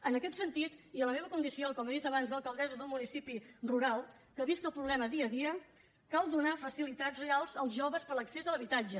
en aquest sentit i en la meva condició com he dit abans d’alcaldessa d’un municipi rural que visc el problema dia a dia cal donar facilitats reals als joves per a l’accés a l’habitatge